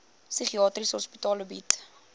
psigiatriese hospitale bied